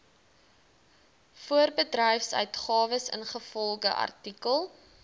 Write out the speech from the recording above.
voorbedryfsuitgawes ingevolge artikel